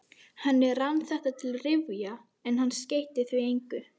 Henni rann þetta til rifja, en hann skeytti því engu.